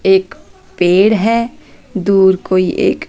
एक पेड़ है दूर कोई एक--